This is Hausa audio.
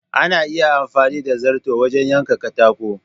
Ana iya amfani da zarto wajen yanka katako.